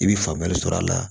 I bɛ faamuyali sɔrɔ a la